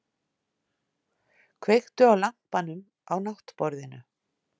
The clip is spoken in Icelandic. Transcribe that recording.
Kveiktu á lampanum á náttborðinu!